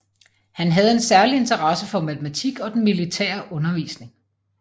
Han havde en særlig interesse for matematik og den militære undervisning